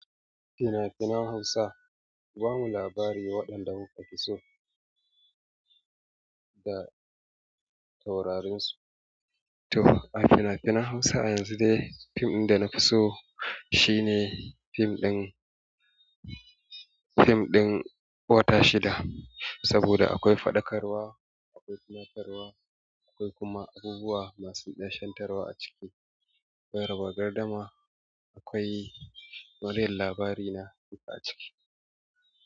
Fina-finan Hausa ku bamu labari waɗanda kuka fi so da taurarinsu? To a fina-finan Hausa yanzu dai film da na fi so shine film ɗin, film ɗin Wata Shida saboda akwai faɗakarwa, akwai tunatarwa, akwai kuma abubuwa masu nishintarwa a ciki. Akwai raba gardama, akwai maryam labari na duka a ciki.